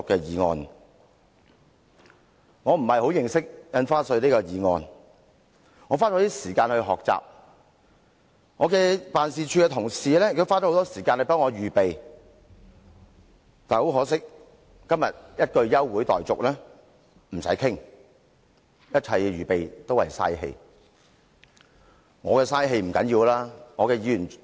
由於我對《條例草案》認識不深，我花了一些時間學習，我的辦事處同事也花了很多時間替我預備發言稿，但很可惜，政府今天一句"休會待續"便不用再談，一切預備都是浪費氣力。